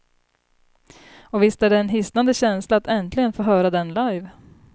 Och visst är det en hisnande känsla att äntligen få höra den live.